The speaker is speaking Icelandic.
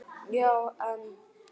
Já, en